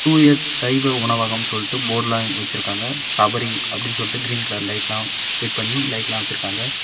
தூய சைவ உணவகம் சொல்ட்டு போர்டு எல்லாம் வெச்சிருக்காங்க சபரி அப்டின்னு சொல்ட்டு கிரீன் கலர் லைட்லாம் பிட் பண்ணி லைட்லாம் வச்சிருக்காங்க.